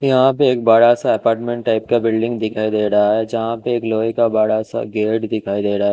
यहाँ पर एक बड़ा सा अपार्टमेंट टाइप का बिल्डिंग दिखइ दे रहा है जहा पे एक लोहे का बड़ा सा गेट दिखाई दे रहा है।